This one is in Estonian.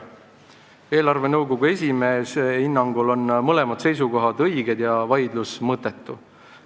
Eelarvenõukogu esimehe hinnangul on mõlemad seisukohad õiged ja vaidlus mõttetu.